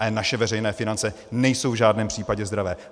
Ale naše veřejné finance nejsou v žádném případě zdravé.